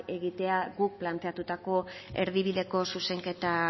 egitean guk planteatutako erdibideko zuzenketa